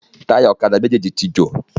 Táyà ọ̀kadà méjèjì tí jò.